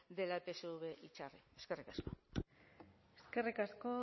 de la epsv itzarri eskerrik asko eskerrik asko